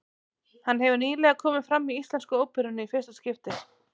Hann hefur nýlega komið fram í Íslensku óperunni í fyrsta skipti.